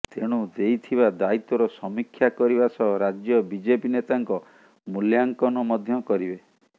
ତେଣୁ ଦେଇଥିବା ଦାୟିତ୍ୱର ସମୀକ୍ଷା କରିବା ସହ ରାଜ୍ୟ ବିଜେପି ନେତାଙ୍କ ମୂଲ୍ୟାଙ୍କନ ମଧ୍ୟ କରିବେ